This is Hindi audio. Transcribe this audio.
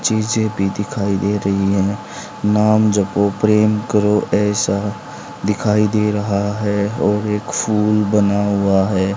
चीज़ें भी दिखाई दे रही है नाम जपो प्रेम करो ऐसा दिखाई दे रहा है और एक फूल बना हुआ है।